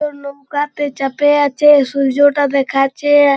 কেউ নৌকা তে চাপে আছে। সূর্য টা দেখাচ্ছে-এ--